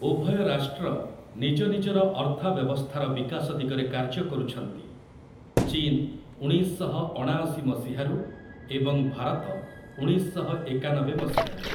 ଉଭୟ ରାଷ୍ଟ୍ର ନିଜ ନିଜର ଅର୍ଥବ୍ୟବସ୍ଥାର ବିକାଶ ଦିଗରେ କାର୍ଯ୍ୟ କରୁଛନ୍ତି, ଚୀନ ଉଣେଇଶ ଶହ ଅଣାଅସି ମସିହାରୁ ଏବଂ ଭାରତ ଉଣେଇଶ ଶହ ଏକାନବେ ମସିହାରୁ ।